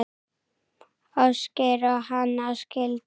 Ásgeir og Hanna skildu.